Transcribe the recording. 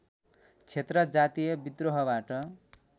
क्षेत्र जातीय बिद्रोहबाट